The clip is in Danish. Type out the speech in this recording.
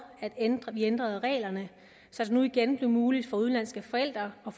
at vi ændrede reglerne så det nu igen blev muligt for udenlandske forældre at